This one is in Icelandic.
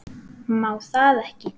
Má það ekki?